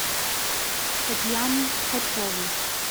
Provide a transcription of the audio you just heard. татьяну ткачеву